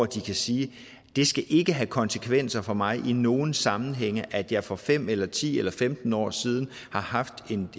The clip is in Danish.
de kan sige det skal ikke have konsekvenser for mig i nogen sammenhænge at jeg for fem eller ti eller femten år siden har haft